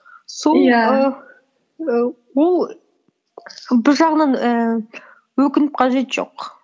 сол иә ііі ол бір жағынан ііі өкініп қажеті жоқ